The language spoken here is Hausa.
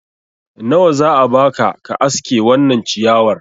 nawa za a baka ka aske wannan ciyawar